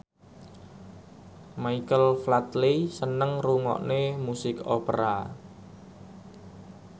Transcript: Michael Flatley seneng ngrungokne musik opera